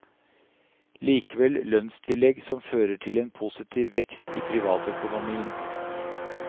Likevel, lønnstillegg som førte til en positiv vekst i privatøkonomien.